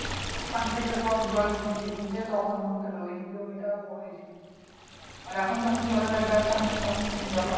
ওখান থেকে সব জল চিচে চিচে তখন আমাদের ওই জমিটা হয়েছিল আর এখন যখন জলের আর দরকার নাই তখন জল আসছে